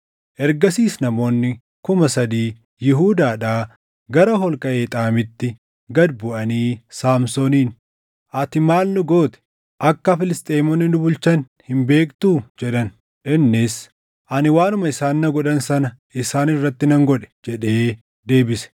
Ergasiis namoonni kuma sadii Yihuudaadhaa gara holqa Eexaamitti gad buʼanii Saamsooniin, “Ati maali nu goote? Akka Filisxeemonni nu bulchan hin beektuu?” jedhan. Innis, “Ani waanuma isaan na godhan sana isaan irratti nan godhe” jedhee deebise.